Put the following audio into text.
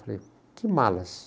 Eu falei, que malas?